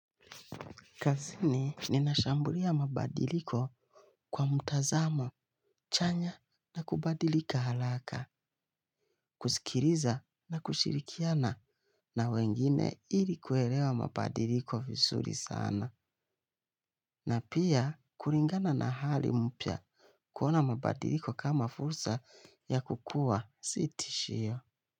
Kazini ninashambulia mabadiliko kwa mtazamo chanya na kubadilika haraka, kusikiliza na kushirikiana na wengine ili kuelewa mabadiliko vizuri sana. Na pia kulingana na hali mpya, kuona mabadiliko kama fursa ya kukua, si tishio.